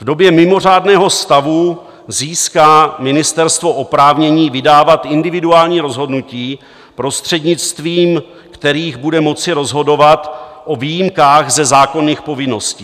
V době mimořádného stavu získá ministerstvo oprávnění vydávat individuální rozhodnutí, prostřednictvím kterých bude moci rozhodovat o výjimkách ze zákonných povinností.